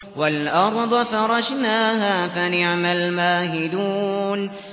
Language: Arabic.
وَالْأَرْضَ فَرَشْنَاهَا فَنِعْمَ الْمَاهِدُونَ